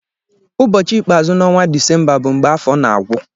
Ụbọchị ikpeazụ n'ọnwa Disemba bụ mgbe afọ na-agwụ.